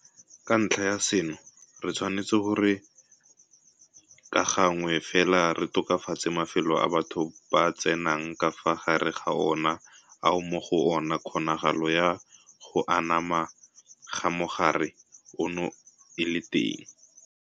Ka ntlha ya seno re tshwanetse gore ka gangwe fela re tokafatse mafelo a batho ba tsenang ka fa gare ga ona ao mo go ona kgonagalo ya go anama ga mogare ono e leng teng.